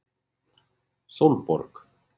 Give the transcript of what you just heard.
Sólborg